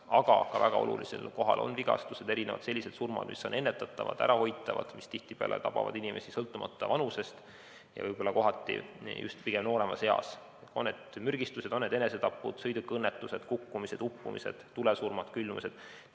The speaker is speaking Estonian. Aga väga olulisel kohal on ka vigastused ja sellised surmad, mis on ennetatavad, ärahoitavad, mis tihtipeale tabavad inimesi sõltumata vanusest ja võib-olla pigem nooremas eas, on need siis mürgistused, enesetapud, sõidukiõnnetused, kukkumised, uppumised, tulesurmad, külmumised.